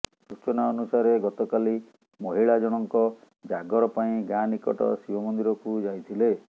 ସୂଚନା ଅନୁସାରେ ଗତକାଲି ମହିଳା ଜଣଙ୍କ ଜାଗର ପାଇଁ ଗାଁ ନିକଟ ଶିବ ମନ୍ଦିରକୁ ଯାଇଥିଲେ